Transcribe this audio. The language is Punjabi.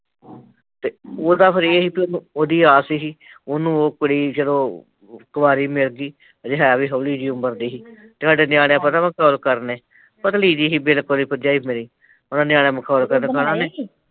ਉਹਦਾ ਫਿਰ ਏਹ ਸੀ ਵੀ ਉਹਦੀ ਆਸ ਸੀ, ਉਹਨੂੰ ਉਹ ਕੁੜੀ ਚਲੋ ਕੁਵਰੀ ਮਿਲਗੀ ਹਲੇ ਹੈ ਵੀ ਹੌਲੀ ਜਹੀ ਉਮਰ ਦੀ ਸੀ ਤੇ ਸਾਡੇ ਨਿਆਣੇ ਪਤਾ ਮਖੋਲ ਕਰਦੇ ਪਤਲੀ ਜਹੀ ਸੀ ਬਿਲਕੁਲ ਈ ਭਰਜਾਈ ਮੇਰੀ ਓਹਨੂੰ ਨਿਆਣੇ ਮਖੋਲ ਕਰਦੇ